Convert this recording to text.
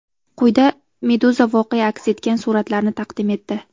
Quyida Meduza voqea aks etgan suratlarni taqdim etdi .